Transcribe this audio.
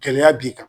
Gɛlɛya b'i kan